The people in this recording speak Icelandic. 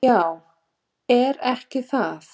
"""Já, er ekki það?"""